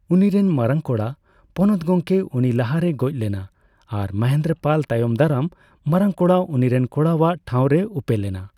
ᱩᱱᱤᱨᱮᱱ ᱢᱟᱨᱟᱝ ᱠᱚᱲᱟ ᱯᱚᱱᱚᱛ ᱜᱚᱢᱠᱮ ᱩᱱᱤ ᱞᱟᱦᱟᱨᱮᱭ ᱜᱚᱡᱽ ᱞᱮᱱᱟ ᱟᱨ ᱢᱚᱦᱮᱱᱫᱽᱨᱚᱯᱟᱞ ᱛᱟᱭᱚᱢᱫᱟᱨᱟᱢ ᱢᱟᱨᱟᱝ ᱠᱚᱲᱟ ᱩᱱᱤᱨᱮᱱ ᱠᱚᱲᱟᱣᱟᱜ ᱴᱦᱟᱣ ᱨᱮᱭ ᱩᱯᱮᱞᱮᱱᱟ ᱾